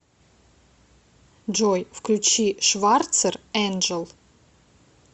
джой включи шварцер энджел